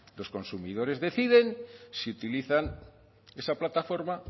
los consumidores deciden si utilizan esa plataforma